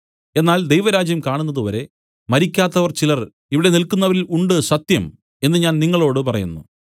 എന്നാൽ ദൈവരാജ്യം കാണുന്നത് വരെ മരിക്കാത്തവർ ചിലർ ഇവിടെ നില്ക്കുന്നവരിൽ ഉണ്ട് സത്യം എന്നു ഞാൻ നിങ്ങളോടു പറയുന്നു